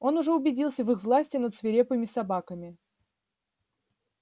он уже убедился в их власти над свирепыми собаками